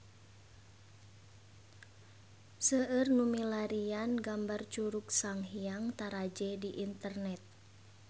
Seueur nu milarian gambar Curug Sanghyang Taraje di internet